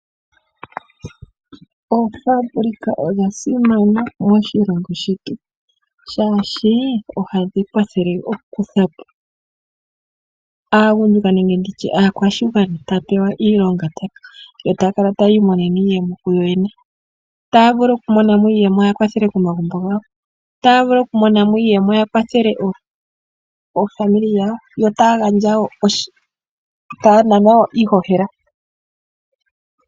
Oofabulika odha simana moshilongo shetu molwa shoka ojadhi kwathele aagundjuka nenge aantu ohaya pewa oonda yotaya kala taya imonene iiyemo kuyo yene otaa vulu okumona mo iiyemo yaa kwathele komagumbo gawo otaa vulu okumona mo iiyemo yavkwathele oofamili dhawo yo taa nanwa wo iihohela.